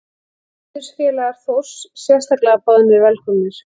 Heiðursfélagar Þórs sérstaklega boðnir velkomnir.